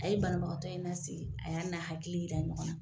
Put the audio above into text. A ye banabagatɔ in nasigi, a y'a n'a hakili yira ɲɔgɔn na.